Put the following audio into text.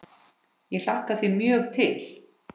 Ég hlakka því mjög til.